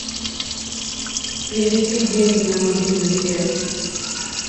перевести деньги на мобильную связь